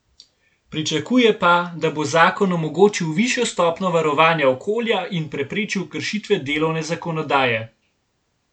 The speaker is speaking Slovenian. Pričakuje pa, da bo zakon omogočil višjo stopnjo varovanja okolja in preprečil kršitve delovne zakonodaje.